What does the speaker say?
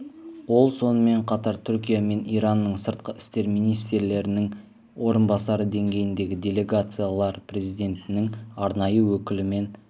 ол сонымен қатар түркия мен иранның сыртқы істер министрлерінің орынбасары деңгейіндегі делегациялар президентінің арнайы өкілі мен